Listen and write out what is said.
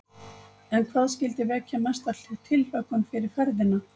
En hvað skyldi vekja mesta tilhlökkun fyrir ferðina?